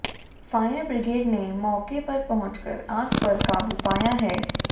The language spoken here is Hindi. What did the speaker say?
फायर ब्रिगेड ने मौके पर पहुंचकर आग पर काबू पाया है